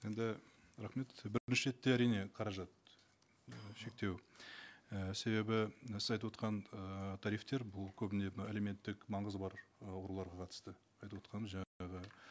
енді рахмет бірінші ретте әрине қаражат шектеу і себебі сіз айтып отырған ы тарифтер бұл көбіне мына әлеуметтік маңызы бар ы ауруларға қатысты айтып отырғаным жаңағы